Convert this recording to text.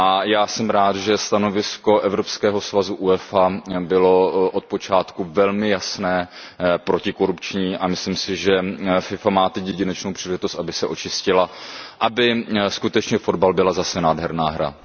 Já jsem rád, že stanovisko evropského svazu UEFA bylo od počátku velmi jasně protikorupční, a myslím si, že FIFA má teď jedinečnou příležitost, aby se očistila, aby skutečně fotbal byla zase nádherná hra.